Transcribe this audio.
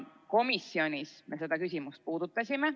Komisjonis me seda küsimust puudutasime.